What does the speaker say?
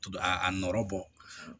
A a nɔrɔ bɔ